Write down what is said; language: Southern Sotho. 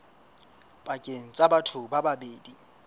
pakeng tsa batho ba babedi